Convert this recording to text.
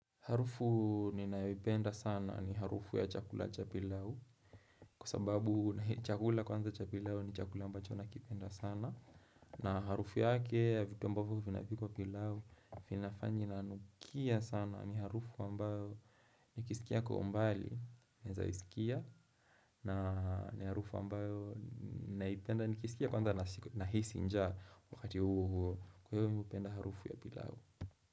Harufu ninayoipenda sana ni harufu ya chakula cha pilau. Kwa sababu chakula kwanza cha pilau ni chakula ambacho nakipenda sana. Na harufu yake ya vitu ambavyo vinapikwa pilau. Inafanya inanukia sana ni harufu ambayo nikisikia kwa umbali, naweza isikia, na ni harufu ambayo ninaipenda nikisikia kwanza nahisi njaa wakati huo huo. Kwa hivyo mimi hupenda harufu ya pilau.